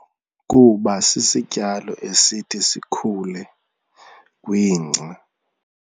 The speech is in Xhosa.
Kuba sisityalo esithi sikhule kwingca.